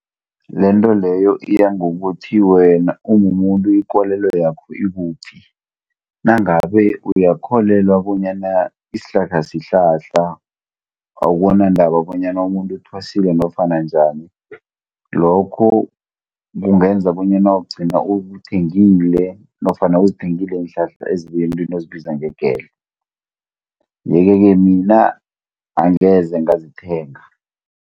Lento leyo iya ngokuthi wena umumuntu ikolelo yakho ikuphi. Nangabe uyakholelwa bonyana isihlahla sihlahla, akunandaba bonyana umuntu uthwasile nofana njani, lokho kungenza bonyana ugcine uwuthengile, nofana uzithengile iinhlahla ezibuya emuntwini ozibiza ngegedla. Iye-ke ke mina, angeze ngazithenga.